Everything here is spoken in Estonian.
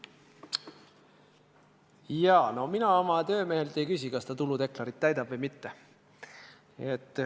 Jaa, no mina oma töömehelt ei küsi, kas ta tuludeklaratsiooni täidab või mitte.